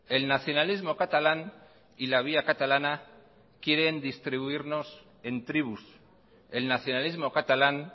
el nacionalismo catalán y la vía catalana quieren distribuirnos en tribus el nacionalismo catalán